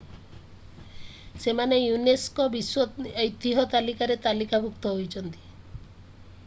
ସେମାନେ unesco ବିଶ୍ଵ ଐତିହ୍ୟ ତାଲିକାରେ ତାଲିକାଭୁକ୍ତ ହୋଇଛନ୍ତି